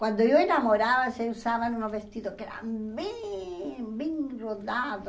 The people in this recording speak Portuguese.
Quando eu enamorava, se usavam um vestido que era bem bem rodado.